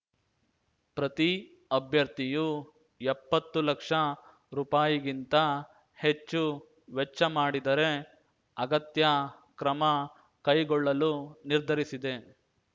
ಪ್ರತಿ ಅಭ್ಯರ್ಥಿಯು ಎಪ್ಪತ್ತು ಲಕ್ಷ ರೂಪಾಯಿ ಗಿಂತ ಹೆಚ್ಚು ವೆಚ್ಚ ಮಾಡಿದರೆ ಅಗತ್ಯ ಕ್ರಮ ಕೈಗೊಳ್ಳಲು ನಿರ್ಧರಿಸಿದೆ